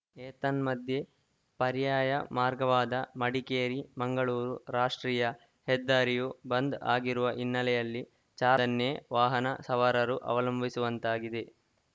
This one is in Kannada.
ಏತನ್ಮಧ್ಯೆ ಪರ್ಯಾಯ ಮಾರ್ಗವಾದ ಮಡಿಕೇರಿಮಂಗಳೂರು ರಾಷ್ಟ್ರೀಯ ಹೆದ್ದಾರಿಯೂ ಬಂದ್‌ ಆಗಿರುವ ಹಿನ್ನೆಲೆಯಲ್ಲಿ ಚಾರ್ಮಾ ನ್ನೇ ವಾಹನ ಸವಾರರು ಅವಲಂಬಿಸುವಂತಾಗಿದೆ